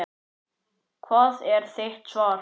Hvert er þitt svar?